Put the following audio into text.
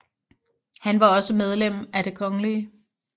Han var også medlem af Det kgl